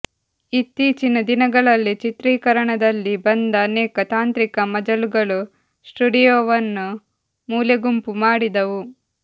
ಇತ್ತೀಚಿನ ದಿನಗಳಲ್ಲಿ ಚಿತ್ರೀಕರಣದಲ್ಲಿ ಬಂದ ಅನೇಕ ತಾಂತ್ರಿಕ ಮಜಲುಗಳು ಸ್ಟುಡಿಯೋವನ್ನು ಮೂಲೆಗುಂಪು ಮಾಡಿದವು